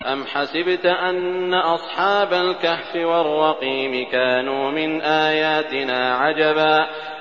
أَمْ حَسِبْتَ أَنَّ أَصْحَابَ الْكَهْفِ وَالرَّقِيمِ كَانُوا مِنْ آيَاتِنَا عَجَبًا